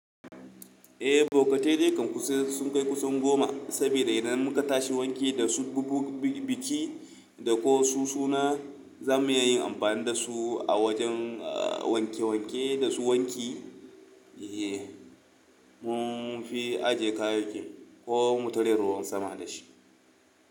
Eh, bokatai dai kam sun kai kusan goma, saboda idan muka tashi wanki da su, bugu biki da ko su suna, za mu iya yin amfani da su a wajen wanke wanke da su wanki. Mun fi ajiye kayayyaki ko mu tare ruwan sama da shi.